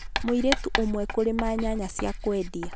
Mũirĩtu ũmwe kũrima nyanya cia kwendia .